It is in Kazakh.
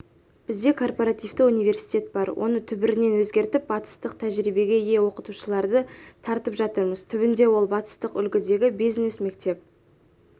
бізде корпоративті университет бар оны түбірінен өзгертіп батыстық тәжірибеге ие оқытушыларды тартып жатырмыз түбінде ол батыстық үлгідегі бизнес-мектеп